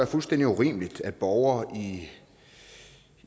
fuldstændig urimeligt at borgere